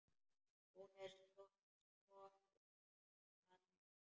Hún er strokin að heiman.